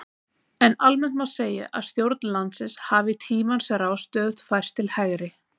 En almennt má segja að stjórn landsins hafi í tímans rás stöðugt færst til hægri.